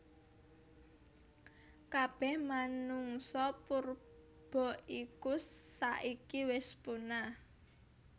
Kabeh menungsa purba iku saiki wis punah